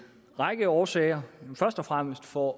række årsager først og fremmest for